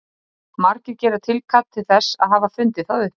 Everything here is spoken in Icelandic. haraldur hárfagri tekur við konungdómi